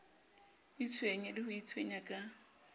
itshwenye le ho itshwenya ka